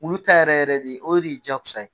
Wulu ta yɛrɛ yɛrɛ de o de ye jakosa ye